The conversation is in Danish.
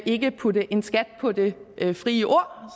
ikke putte en skat på det frie ord